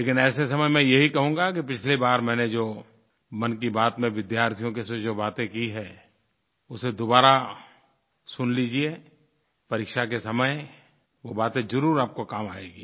लेकिन ऐसे समय मैं यही कहूँगा कि पिछली बार मैंने जो मन की बात में विद्यार्थियों से जोजो बातें की हैं उसे दोबारा सुन लीजिए परीक्षा के समय वो बातें ज़रूर आपको काम आएँगी